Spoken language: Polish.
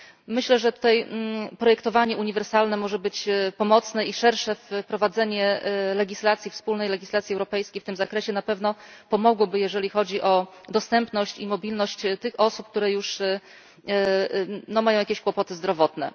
Myślę, że tutaj projektowanie uniwersalne może być pomocne i szersze wprowadzenie wspólnej legislacji europejskiej w tym zakresie na pewno pomogłoby, jeżeli chodzi o dostępność i mobilność tych osób, które już mają jakieś kłopoty zdrowotne.